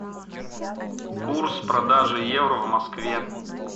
курс продажи евро в москве